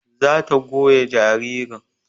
Za ta goya jaririn